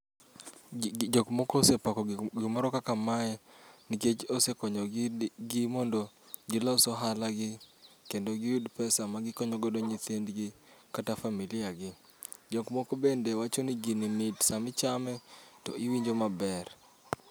Jok moko ose pako gik gimoro kaka mae nikech ose konyogi mondo gilos ohala gi kendo giyud pesa magikonyo godo nyithindgi, kata familia gi. Jok moko bende wacho ni gini mit sama ichame to iwinjo maber.